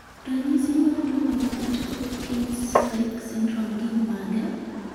Ranyisi mag tuo mar Pitt Hopkins like syndrome gin mage?